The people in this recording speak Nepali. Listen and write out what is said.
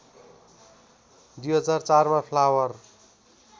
२००४ मा फ्लावर